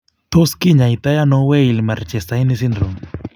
Tot kinyaitaano Weill Marchesaini syndrome?